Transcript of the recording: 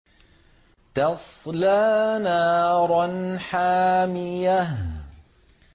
تَصْلَىٰ نَارًا حَامِيَةً